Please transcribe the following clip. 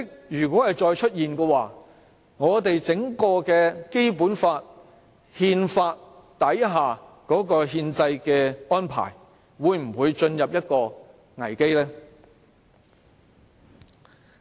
如果再出現這種情況，我們的《基本法》和憲法底下的憲制安排會否陷入危機？